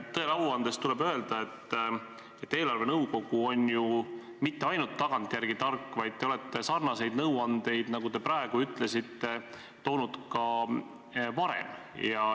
Tõele au andes tuleb öelda, et eelarvenõukogu ei ole ju mitte ainult tagantjärele tark, vaid te olete sarnaseid nõuandeid, nagu te praegu ütlesite, andnud ka varem.